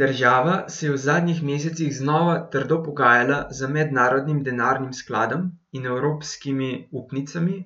Država se je v zadnjih mesecih znova trdo pogajala z Mednarodnim denarnim skladom in evropskimi upnicami,